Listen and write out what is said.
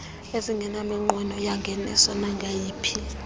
ezingenaminqweno yangeniso nangayiphi